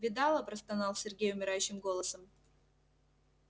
видала простонал сергей умирающим голосом